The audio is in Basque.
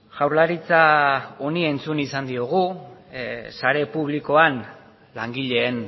jaurlaritzak honi buruz entzun izan diogu sare publikoan langileen